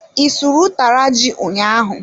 I sụrụ utara ji ụnyaahụ?